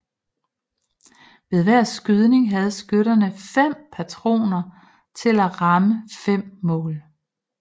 Ved hver skydning have skytterne fem patroner til at ramme fem mål